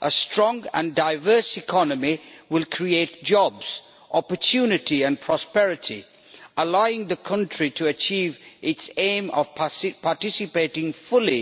A strong and diverse economy will create jobs, opportunity and prosperity, allowing the country to achieve its aim of participating fully